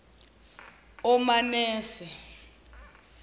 omanase